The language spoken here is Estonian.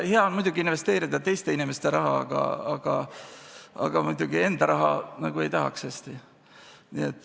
Hea on muidugi investeerida teiste inimeste raha, aga enda raha mängu panna hästi nagu ei tahaks.